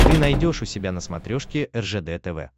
ты найдешь у себя на смотрешке ржд тв